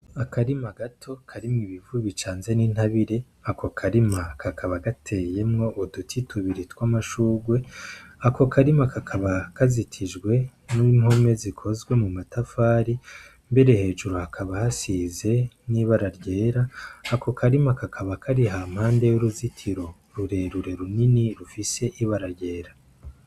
Akarima gato karimwo ib'ivu bicanze n'intabire ako karima kakaba gateyemwo uduti tubiri tw'amashurwe ako karima kakaba kazitijwe n'impume zikozwe mu matafari mbere hejuru hakaba hasize n'ibara ryera ako karima kakaba kari ha mpande y'uruzitiro rurerure runini rufise ibara ryera.